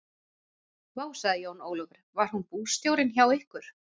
Vá, sagði Jón Ólafur, var hún bústjórinn hjá ykkur?